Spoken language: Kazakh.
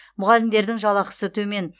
мұғалімдердің жалақысы төмен